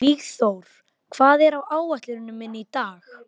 Vígþór, hvað er á áætluninni minni í dag?